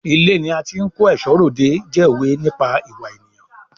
Ilé ni a ti ń kó ẹ̀ṣọ́ r'òde jẹ́ òwe nípa ìwà ènìyàn.